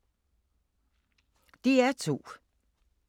DR2